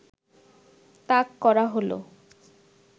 তাক করা হলো